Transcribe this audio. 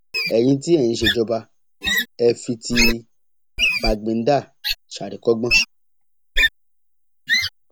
ẹyin tí ẹ ń ṣèjọba ẹ fi ti bàgbéǹdà ṣàríkọgbọn